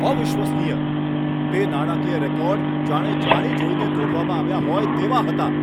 અવિશ્વસનીય! તે નાણાકીય રેકોર્ડ જાણે જાણીજોઈને તોડવામાં આવ્યા હોય તેવા હતા!